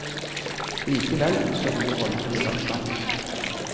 Likevel ønsker de å holde en viss avstand.